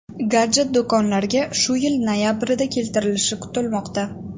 Gadjet do‘konlarga shu yil noyabrida keltirilishi kutilmoqda.